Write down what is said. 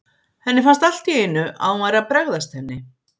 Henni fannst allt í einu að hún væri að bregðast henni.